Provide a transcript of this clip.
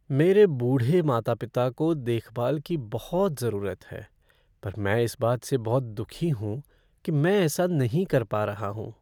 मेरे बूढ़े माता पिता को देखभाल की बहुत ज़रूरत है पर मैं इस बात से बहुत दुखी हूँ कि मैं ऐसा नहीं कर पा रहा हूँ।